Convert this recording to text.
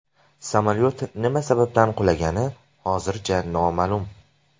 Samolyot nima sababdan qulagani hozircha noma’lum.